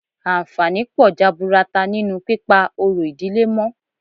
Àǹfààní pọ̀ jaburata nínú pípa orò ìdílé mọ́